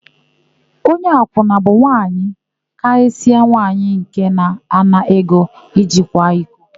Onye akwụna bụ mmadụ, karịsịa nwaanyị nke na-ana ego iji kwa iko.